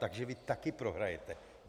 Takže vy taky prohrajete.